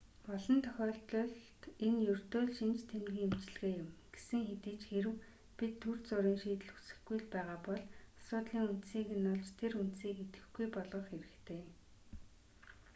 олон тохиолдолд энэ ердөө л шинж тэмдгийн эмчилгээ юм гэсэн хэдий ч хэрэв бид түр зуурын шийдэл хүсэхгүй л байгаа бол асуудлын үндсийг нь олж тэр үндсийг идэвхгүй болгох хэрэгтэй